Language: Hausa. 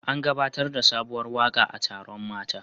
An gabatar da sabuwar waka a taron mata